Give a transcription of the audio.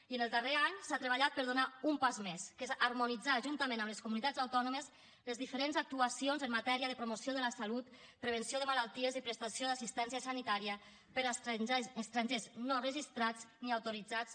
i en el darrer any s’ha treballat per fer un pas més que és harmonitzar juntament amb les comunitats autònomes les diferents actuacions en matèria de promoció de la salut prevenció de malalties i prestació d’assistència sanitària per a estrangers no registrats ni autoritzats